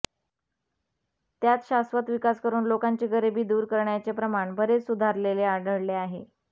त्यात शाश्वत विकास करून लोकांची गरीबी दूर करण्याचे प्रमाण बरेच सुधारलेले आढळले आहे